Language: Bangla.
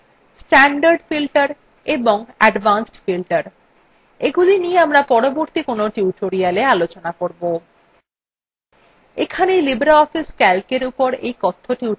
autofilter ছাড়াও আরো দুইপ্রকার filter আছেstandard filter এবং advanced filter এগুলি নিয়ে আমরা পরবর্তী কোনো টিউটোরিয়ালwe আলোচনা করবো